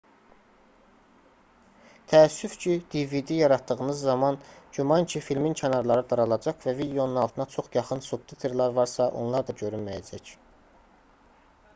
təəssüf ki dvd yaratdığınız zaman güman ki filmin kənarları daralacaq və videonun altına çox yaxın subtitrlər varsa onlar da görünməyəcək